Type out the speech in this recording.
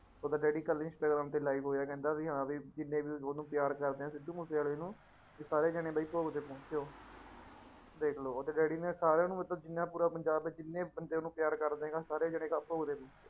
ਉਹਦਾ daddy ਕੱਲ੍ਹ Instagram ਤੇ live ਹੋਇਆ ਕਹਿੰਦਾ ਵੀ ਹਾਂ ਵੀ ਜਿੰਨੇ ਵੀ ਉਹਨੂੰ ਪਿਆਰ ਕਰਦੇ ਹੈ ਸਿੱਧੂ ਮੂਸੇਵਾਲੇ ਨੂੂੰ ਵੀ ਸਾਰੇ ਜਾਣੇ ਬਈ ਭੋਗ ਤੇ ਪਹੁੰਚੋ ਦੇਖ ਲਓ ਉਹਦੇ daddy ਨੇ ਸਾਰਿਆਂ ਨੂੰ ਮਤਲਬ ਜਿੰਨਾ ਪੂਰਾ ਪੰਜਾਬ ਹੈ ਜਿੰਨੇ ਬੰਦੇ ਨੂੰ ਪਿਆਰ ਕਰਦੇ ਆ ਸਾਰੇ ਜਾਣੇ